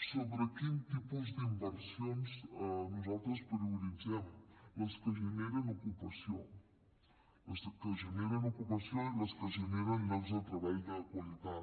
sobre quin tipus d’inversions nosaltres prioritzem les que generen ocupació les que generen ocupació i les que generen llocs de treball de qualitat